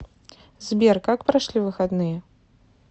сбер как прошли выходные